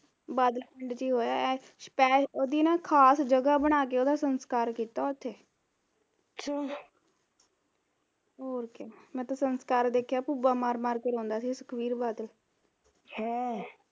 ਬਾਦਲ ਪਿੰਡ ਚ ਈ ਹੋਇਆ ਉਹਦੀ ਨਾ ਖਾਸ ਜਗ੍ਹਾ ਬਣਾ ਕੇ ਉਹਦਾ ਸਸਕਾਰ ਕੀਤਾ ਓਥੇ ਹੋਰ ਕਿਆ ਮੈਂ ਤਾਂ ਸੰਸਕਾਰ ਦੇਖਿਆ ਭੁੱਬਾਂ ਮਾਰ ਮਾਰ ਕੇ ਰੋਂਦਾ ਸੀ ਸੁਖਬੀਰ ਬਾਦਲ ਅਹ